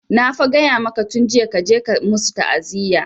Na fa gaya maka tun jiya kaje ka musu ta'aziya!